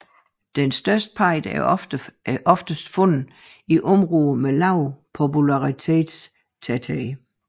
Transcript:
De største tudser er ofte fundet i områder med lavere populationstæthed